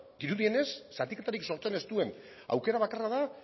dirudienez zatiketarik sortzen ez duen aukera bakarra da